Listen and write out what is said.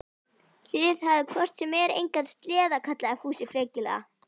Þið hafið hvort sem er engan sleða, kallaði Fúsi frekjulega.